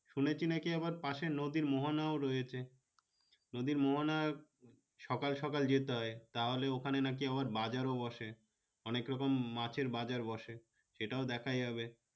শুনেছি নাকি আবার পাশে নদীর মোহনা ও রয়েছে নদীর মোহনা সকাল সকাল যেতে হয় তাহলে ওখানে নাকি আবার বাজারো বসে অনেক রকম মাছের বাজার ও বসে সেটাও দেখা যাবে